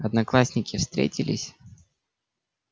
одноклассники встретились